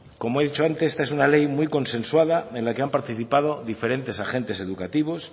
como he dicho antes esta es una ley muy consensuada en la que han participado diferentes agentes educativos